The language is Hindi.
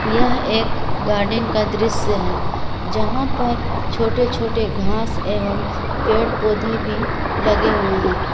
यह एक गार्डन का दृश्य है जहां पर छोटे छोटे घास एवं पेड़ पौधे भी लगे हुए हैं।